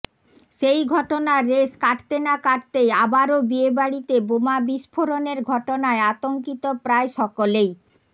সেই ঘটনার রেশ কাটতে না কাটতেই আবারও বিয়েবাড়িতে বোমা বিস্ফোরণের ঘটনায় আতঙ্কিত প্রায় সকলেই